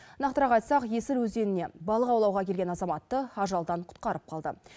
нақтырақ айтсақ есіл өзеніне балық аулауға келген азаматты ажалдан құтқарып қалды